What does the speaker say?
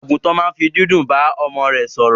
Àgùntàn ma n fi dídún ba ọmọ rẹ sòrò